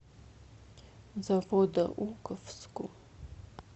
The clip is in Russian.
заводоуковску